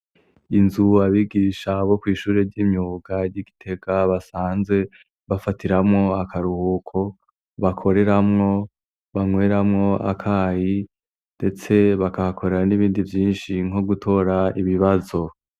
Inzu abigisha bo kw'ishuri ry'imyuga ry'i Gitega basanzwe bafatiramwo akaruhuko, bakoreramwo, banyweramo akayi, ndetse bakahakorera n'ibindi vyinshi nko gutora ibibazo.